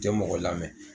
Tɛ mɔgɔ lamɛn